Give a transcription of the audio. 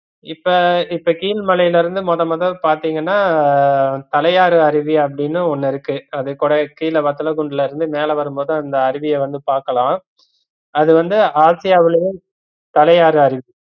இப்ப இப்ப கீழ்மலைலிருந்து மொத மொத பாத்தீங்கனா தலையாரு அறிவி அப்படின்னு ஒன்னு இருக்கு அது கீழ வத்தலகுண்டுலலிருந்து மேலவரும்போது அந்த அருவிய வந்து பாக்கலாம் அது வந்து ஆசியாவிலேயே தலையாரு அறிவி